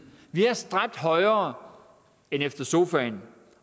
vi har stræbt højere end efter sofaen